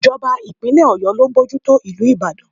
It's the government of Oyo State that is overseeing the city of Ìbàdàn.